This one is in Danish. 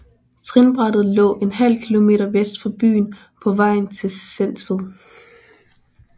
Trinbrættet lå ½ km vest for byen på vejen til Sentved